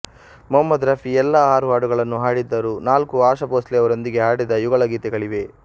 ಮಹಮದ್ ರಫಿ ಎಲ್ಲಾ ಆರು ಹಾಡುಗಳನ್ನು ಹಾಡಿದ್ದರು ನಾಲ್ಕು ಆಶಾ ಬೋಂಸ್ಲೆಯವರೊಂದಿಗೆ ಹಾಡಿದ ಯುಗಳ ಗೀತೆಗಳಾಗಿವೆ